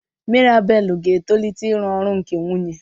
Mirabel ga-etolite ịrụ ọrụ nke nwunye.